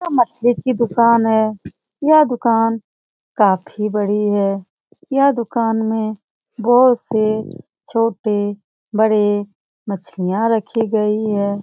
यह मछली की दुकान है यह दुकान काफी बड़ी है यह दुकान में बहुत से छोटे-बड़े मछलियां रखी गई है।